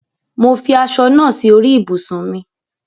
Mo fi aṣọ naa si orí ibùsùn mi